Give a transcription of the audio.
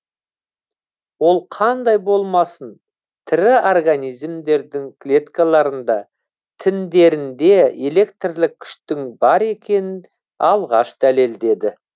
ол қандай болмасын тірі организмдердің клеткаларында тіндерінде электрлік күштің бар екенін алғаш дәлелдеді